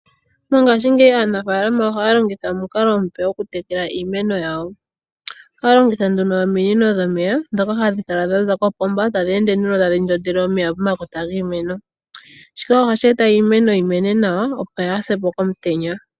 Mongashi ngeyi aanafalama ohaya longitha omukalo omupe gokutekela iimeno yawo, ohaya longitha ominino dhomeya ndhoka hadhi kala dhaza kopomba tadhi ende nduno tadhi ndondele omeya pomakota giimeno shika ohashi eta iimeno yi mene nawa opo yasepo komutenya.